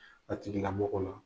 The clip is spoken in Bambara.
A jiginna bɔ